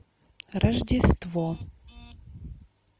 рождество